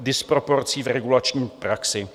disproporcí v regulační praxi.